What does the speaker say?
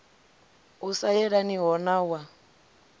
u sa yelaniho na wa